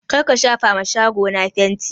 Kar ka shafa ma shago na fanti!